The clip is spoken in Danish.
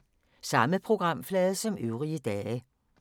Samme programflade som øvrige dage